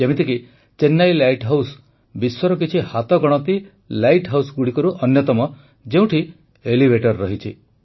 ଯେମିତିକି Chennai lighthouse ବିଶ୍ୱର କିଛି ହାତଗଣତି ଲାଇଟ୍ ହାଉସ୍ଗୁଡ଼ିକରୁ ଅନ୍ୟତମ ଯେଉଁଠି ଏଲିଭେଟର୍ ରହିଛି